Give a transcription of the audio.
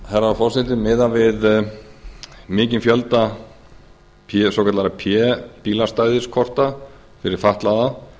herra forseti miðað við mikinn fjölda svokallaðra svokallaðra p bílastæðiskorta fyrir fatlaða